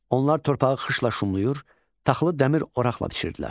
Onlar torpağı xışla şumlayır, taxılı dəmir oraqla biçirdilər.